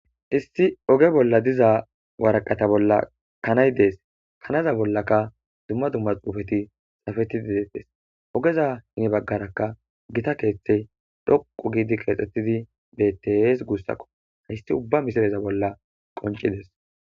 issi oge bolla diza waraqata bolla kanay dees kanaza bollaka dumma dumma xuufeti xafetidi detettes ogeza hini baggarakka gita keeththey dhoqu giidi qeexxettidi bettes guussakko hayssi ubba misireza bolla qoncides